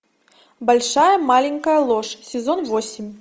большая маленькая ложь сезон восемь